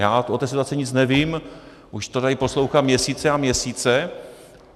Já o té situaci nic nevím, už to tady poslouchám měsíce a měsíce.